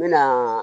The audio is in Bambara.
N mɛna